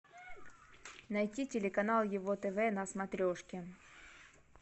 найти телеканал его тв на смотрешке